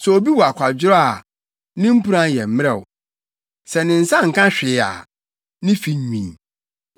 Sɛ obi yɛ akwadworɔ a ne mpuran yɛ mmerɛw; sɛ ne nsa nka hwee a ne fi nwini.